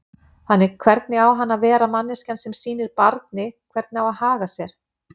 Þannig hvernig á hann að vera manneskjan sem sýnir barni hvernig á að haga sér?